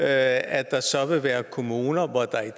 at der så vil være kommuner hvor der